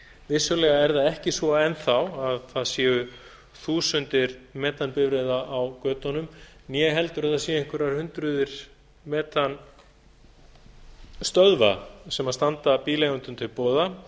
vissulega er það ekki svo enn þá að það séu þúsundir metanbifreiða á götunum né heldur að það séu einhverjar hundruð metanstöðva sem standa bíleigendum til boða